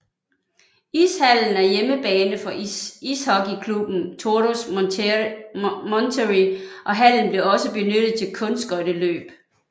Ishallen er hjemmebane for ishockeyklubben Toros Monterrey og hallen bliver også benyttet til Kunstskøjteløb